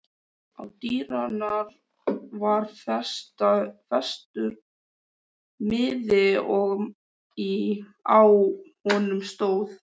Á dyrnar var festur miði og á honum stóð